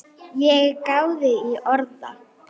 Ég gáði í orða